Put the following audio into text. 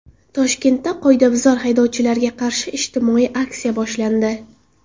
Toshkentda qoidabuzar haydovchilarga qarshi ijtimoiy aksiya boshlandi.